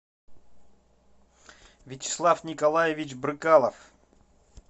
вячеслав николаевич брыкалов